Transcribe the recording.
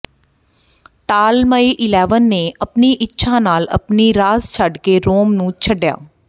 Ptolemy eleven ਨੇ ਆਪਣੀ ਇੱਛਾ ਨਾਲ ਆਪਣੀ ਰਾਜ ਛੱਡ ਕੇ ਰੋਮ ਨੂੰ ਛੱਡਿਆ